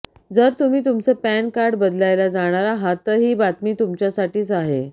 जर तुम्ही तुमचं पॅन कार्ड बदलायला जाणार आहात तर ही बातमी तुमच्यासाठीच आहे